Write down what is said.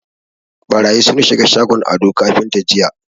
Ɓarayi sun shiga shagon Ado kafinta jiya.